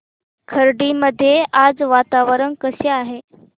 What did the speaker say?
खर्डी मध्ये आज वातावरण कसे आहे